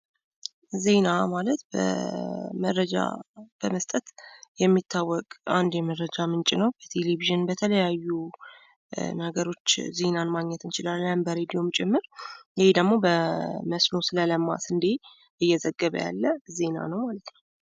ዜና ማለት መረጃ በመስጠት የሚያወቅ አንድ መረጃ ምንጭ ነው። ቴሌቪዥን በተለያዩ ነገሮች ዜናን ማግኘት እንችላለን በሬድዮም ጭምር ይህ ደግሞ በመስኖ ስለለማ ስንዴ እየዘገበ ያለ ዜና ነው ማለት ነው።